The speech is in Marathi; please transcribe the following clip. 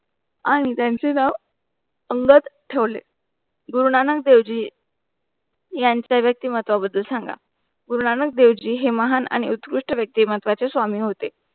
आणि त्यांची जाव अंगात ठेवले गुरुनानक देवजी यांचा व्यक्ती महत्व बद्दल सांगा गुरुनानक देवजी हे महान आणि उतकृष्ट व्यक्तीमत्वाचे स्वामी होते.